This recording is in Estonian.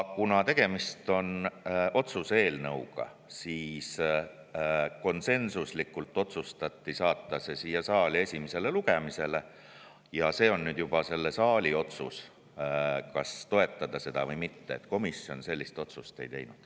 Kuna tegemist on otsuse eelnõuga, siis konsensuslikult otsustati saata see siia saali esimesele lugemisele ja see on juba selle saali otsus, kas toetada seda või mitte, komisjon sellist otsust ei teinud.